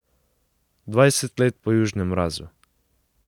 Dvajset let po Južnem razu!